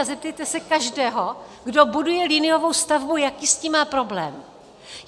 A zeptejte se každého, kdo buduje liniovou stavbu, jaký s tím má problém.